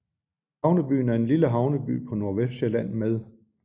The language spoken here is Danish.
Havnebyen er en lille havneby på Nordvestsjælland med